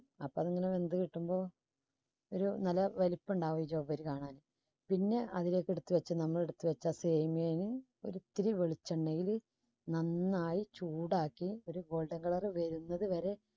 അപ്പോ ഇങ്ങനെ വെന്ത് കിട്ടുമ്പോ ഒരു നല്ല വലിപ്പണ്ടാകും. ജൗവ്വരി കാണാൻ പിന്നെ അതിലേക്ക് എടുത്തുവെച്ച് നമ്മൾ എടുത്തുവെച്ച ഒരിച്ചിരി വെളിച്ചെണ്ണയില് നന്നായി ചൂടാക്കി ഒരു വരുന്നതുവരെ